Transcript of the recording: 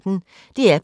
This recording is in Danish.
DR P1